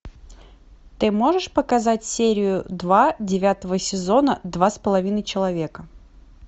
ты можешь показать серию два девятого сезона два с половиной человека